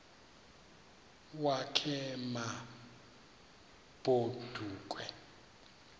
wakhe ma baoduke